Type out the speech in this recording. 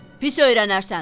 Pis öyrənərsən.